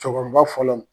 Cɛkɔrɔba fɔlɔ